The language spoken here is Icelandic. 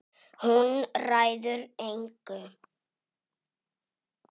Hún ræður engu.